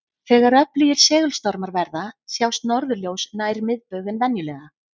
Þegar öflugir segulstormar verða sjást norðurljós nær miðbaug en venjulega.